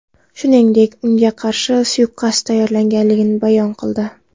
Shuningdek, unga qarshi suiqasd tayyorlanganini bayon qildi.